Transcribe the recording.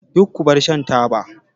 Duk ku bar shan taba!